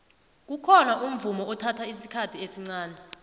kukhona umvumo ethatha isikhathi esncani